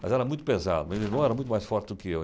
Mas era muito pesado, meu irmão era muito mais forte do que eu.